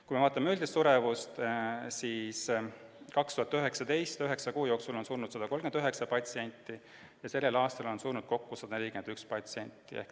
Kui vaatame üldist suremust, siis 2019. aastal suri üheksa kuu jooksul 139 patsienti ja sellel aastal on surnud 141 patsienti.